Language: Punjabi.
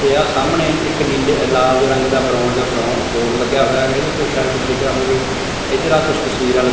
ਤੇ ਆ ਸਾਹਮਣੇ ਇੱਕ ਨੀਲੇ ਲਾਲ ਜੇ ਰੰਗ ਦਾ ਬ੍ਰਾਊਨ ਬ੍ਰਾਓ ਬੋਰਡ ਲੱਗਿਆ ਹੋਇਆ ਹੈਗੈ ਇਹਦੇ ਤੇ ਸ਼ਾਇਦ ਕੁਝ ਲਿਖਿਆ ਹੋਵੇ ਇਧਰ ਆ ਕੁਛ ਤਸਵੀਰਾਂ --